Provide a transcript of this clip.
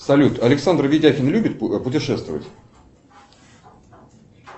салют александр видякин любит путешествовать